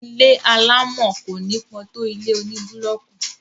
ilé alámọ̀ kò nípọ tó ilé oní búlọọkù